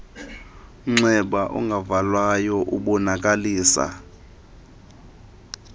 mnxeba ungavalwayo ubonakalisa